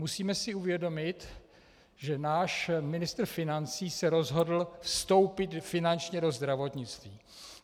Musíme si uvědomit, že náš ministr financí se rozhodl vstoupit finančně do zdravotnictví.